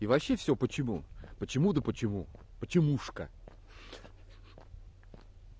и вообще всё почему почему да почему почемушка